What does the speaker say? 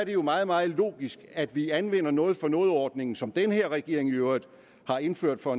jo meget meget logisk at vi anvender noget for noget ordningen som den her regering i øvrigt har indført for